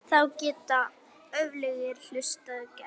Þá geta öflugir hlutir gerst.